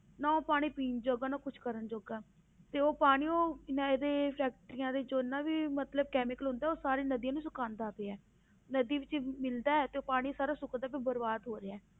ਨਾ ਉਹ ਪਾਣੀ ਪੀਣ ਜੋਗਾ ਨਾ ਕੁਛ ਕਰਨ ਜੋਗਾ ਤੇ ਉਹ ਪਾਣੀ ਉਹ ਨਾ ਇਹਦੇ factories ਦੇ ਜਿੰਨਾਂ ਵੀ ਮਤਲਬ chemical ਹੁੰਦਾ ਉਹ ਸਾਰੇ ਨਦੀਆਂ ਨੂੰ ਸੁਕਾਉਂਦਾ ਪਿਆ ਹੈ, ਨਦੀ ਵਿੱਚ ਮਿਲਦਾ ਹੈ ਤੇ ਉਹ ਪਾਣੀ ਸਾਰਾ ਸੁੱਕਦਾ ਪਿਆ ਬਰਬਾਦ ਹੋ ਰਿਹਾ ਹੈ।